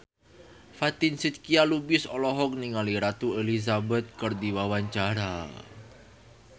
Fatin Shidqia Lubis olohok ningali Ratu Elizabeth keur diwawancara